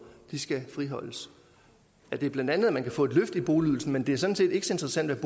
skal friholdes er bla at man kan få et løft i boligydelsen men det er sådan set ikke så interessant